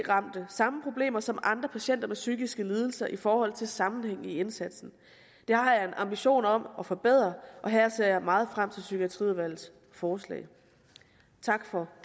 ramte samme problemer som andre patienter med psykiske lidelser i forhold til en sammenhæng i indsatsen det har jeg en ambition om at forbedre og her ser jeg meget frem til psykiatriudvalgets forslag tak for